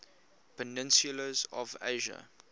peninsulas of asia